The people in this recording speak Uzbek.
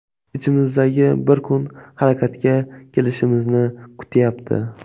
Ichimizdagi bir kuch harakatga kelishimizni kutyapti.